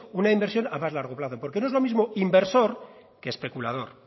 una inversión a más largo plazo porque no lo es lo mismo inversor que especulador